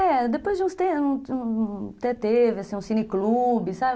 É, depois de uns tempos, até teve, assim, um cine-clube, sabe?